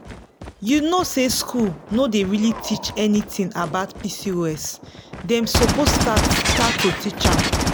you know say school no dey really teach anything about pcos dem suppose start start to teach am.